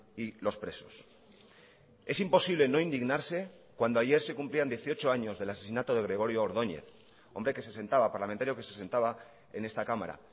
y los presos es imposible no indignarse cuando ayer se cumplían dieciocho años del asesinato de gregorio ordóñez hombre que se sentaba parlamentario que se sentaba en esta cámara